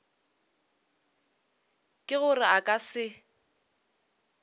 ke gore a ka se